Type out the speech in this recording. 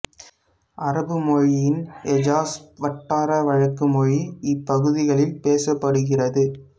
அரபு மொழியின் ஹெஜாஸ் வட்டார வழக்கு மொழி இப்பகுதிகளில் பேசப்படுகிறது